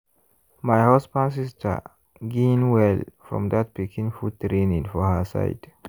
my husband sister gain well from that pikin food training for her side.